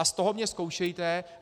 A z toho mě zkoušejte.